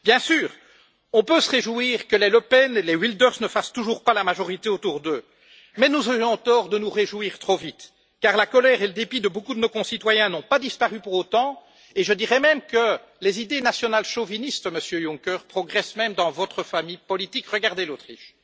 Bien sûr, on peut se réjouir que les Le Pen et les Wilders ne fassent toujours pas la majorité autour d'eux, mais nous aurions tort de nous réjouir trop vite, car la colère et le dépit de beaucoup de nos concitoyens n'ont pas disparu pour autant, et je dirais même que les idées nationales chauvinistes, Monsieur Juncker, progressent même dans votre famille politique regardez l'Autriche.